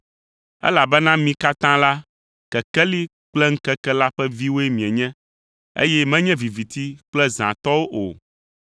Elabena mi katã la, kekeli kple ŋkeke la ƒe viwoe mienye, eye mienye viviti kple zã tɔwo o,